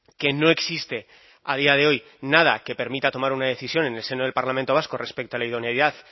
que no existe a día de hoy nada que permita tomar una decisión en el seno del parlamento vasco respecto a la idoneidad